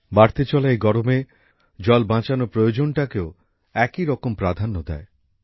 বাড়তে চলা এই গরমে জল বাঁচানোর প্রয়োজনটাকেও একইরকম প্রাধান্য দেয়